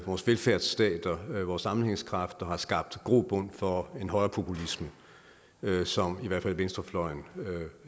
vores velfærdsstater vores sammenhængskraft og som har skabt grobund for en højrepopulisme som i hvert fald venstrefløjen